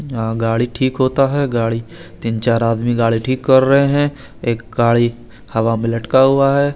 हाँ गाडी ठीक होता है गाडी तीन चार आदमी ठीक कर रहे है एक गाडी हवा में लटका हुआ है।